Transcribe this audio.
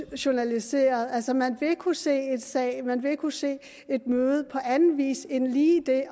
journaliseret altså man vil kunne se en sag og man vil kunne se et møde på anden vis end lige ved at